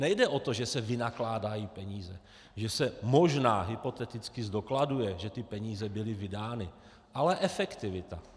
Nejde o to, že se vynakládají peníze, že se možná hypoteticky zdokladuje, že ty peníze byly vydány, ale efektivita.